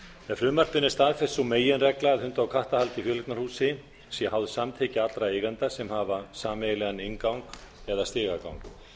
frumvarpinu er staðfest sú meginregla að hunda og kattahald í fjöleignarhúsi sé háð samþykki allra eigenda sem hafa sameiginlegan inngang eða stigagang